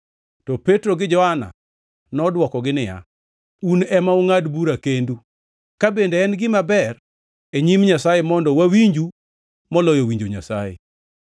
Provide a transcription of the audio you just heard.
To Petro gi Johana nodwokogi niya, “Un ema ungʼad bura kendu, ka bende en gima ber e nyim Nyasaye mondo wawinju moloyo winjo Nyasaye.